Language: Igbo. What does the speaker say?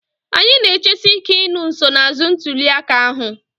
Anyị na-echesi ike ịnụ nsonaazụ ntuli aka ahụ